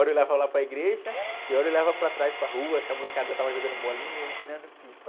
Hora eu olhava lá para a igreja e, hora eu olhava lá para trás, para a rua, se a molecada já estava jogando bolinha, ou empinando pipa.